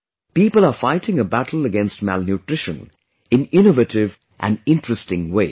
People are fighting a battle against malnutrition in innovative and interesting ways